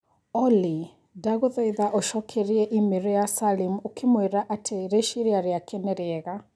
Olly ndagũthaitha ũcokeria i-mīrū ya Salim ũkĩmwira atĩ rĩciria rĩake nĩ rĩega